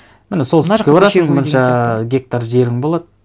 міні солтүстікке барасың мынанша гектар жерің болады